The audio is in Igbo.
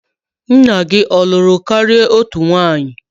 Nna gi ọ lụrụ kari otu nwunye?